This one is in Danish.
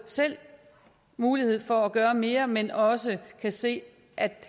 selv mulighed for at gøre mere men også se at vi